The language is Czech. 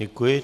Děkuji.